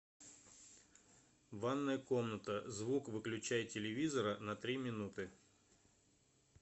ванная комната звук выключай телевизора на три минуты